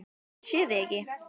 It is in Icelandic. Ég sé þig ekki.